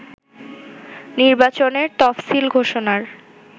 নির্বাচনের তফসিল ঘোষণার